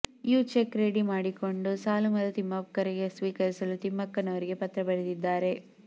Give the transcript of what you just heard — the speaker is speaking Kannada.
ಯ ಚೆಕ್ ರೆಡಿ ಮಾಡಿಕೊಂಡು ಸಾಲು ಮರದ ತಿಮ್ಮಕ್ಕರಿಗೆ ಸ್ವೀಕರಿಸಲು ತಿಮ್ಮಕ್ಕನವರಿಗೆ ಪತ್ರ ಬರೆದಿದ್ದಾರೆ